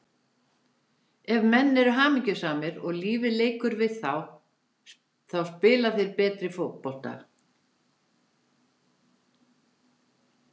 Ef menn eru hamingjusamir og lífið leikur við þá spila þeir betri fótbolta.